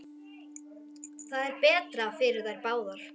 Það er betra fyrir þær báðar.